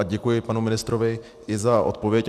A děkuji panu ministrovi i za odpověď.